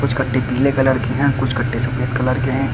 कट्टे पीले कलर के हैं कुछ कट्टे सफेद कलर के हैं।